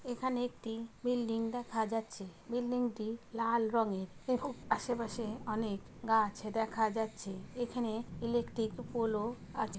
এখানে একটি বিল্ডিং দেখা যাচ্ছে বিল্ডিং -টি লাল রঙের আশে পাশে অনেক গাছ দেখা যাচ্ছে এখানে ইলেকট্রিক পোল -ও আছে।